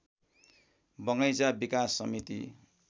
बगैंचा विकास समिति